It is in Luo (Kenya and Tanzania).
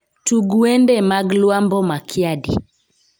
Tug wende mag Lwambo Makiadi